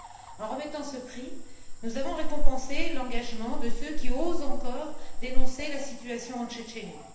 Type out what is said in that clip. En remettant ce prix, nous avons récompensé l'engagement de ceux qui osent encore dénoncer la situation en Tchétchénie.